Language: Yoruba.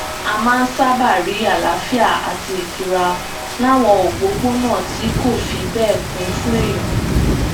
a máa ń sábà rí àlàáfíà àti ìtura láwọn òpópónà tí kò fi bẹẹ kún fún èèyàn